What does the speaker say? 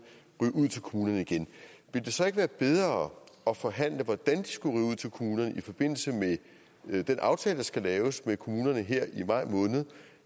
ryge ud til kommunerne igen ville det så ikke være bedre at forhandle hvordan de skulle ryge ud til kommunerne i forbindelse med den aftale der skal laves med kommunerne her i maj måned